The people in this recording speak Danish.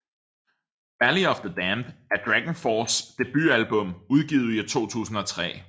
Valley of the Damned er DragonForces debutalbum udgivet i 2003